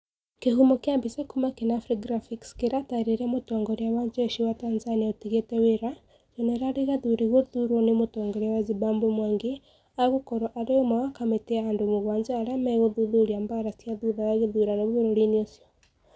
Kihumo kĩa mbica kuma kenafri garphics kĩratarĩria Mũtongoria wa njeshi wa Tanzania ũtigĩte wĩra, Jenerali gathuri gũthuurwo nĩ Mũtongoria wa Zimbabwe mwangi Agũkorũo arĩ ũmwe wa kamĩtĩ ya andũ mũgwanja arĩa mĩgũthuthuria mbaara cia thutha wa gĩthurano bũrũriinĩ ũcio